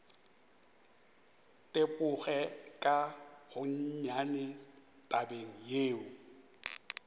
tepoge ka gonnyane tabeng yeo